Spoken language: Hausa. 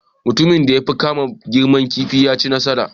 Mutumin da ya fi girma kifi ya ci nasara